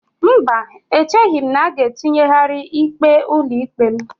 Mba, echeghị m na a ga-etinyegharị ikpe ụlọikpe m.